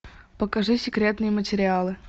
покажи секретные материалы